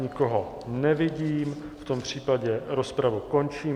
Nikoho nevidím, v tom případě rozpravu končím.